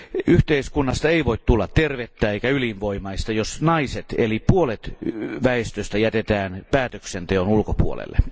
Yhteiskunnasta ei voi tulla tervettä eikä elinvoimaista, jos naiset eli puolet väestöstä jätetään päätöksenteon ulkopuolelle.